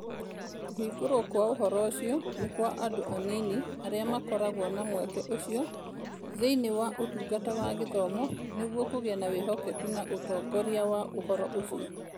Kũhingũrwo kwa ũhoro ũcio nĩ kwa andũ anini arĩa makoragwo na mweke ucio thĩinĩ wa Ũtungata wa Gĩthomo, nĩguo kũgĩe na wĩhokeku na ũtongoria wa ũhoro ũcio.